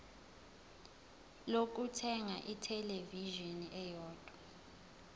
lokuthenga ithelevishini eyodwa